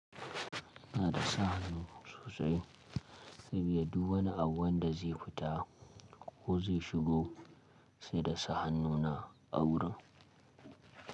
Na iya sa hannu sosai, saboda du wani abun da zai fita ko zai shigo sai da sa hannu na a wurin.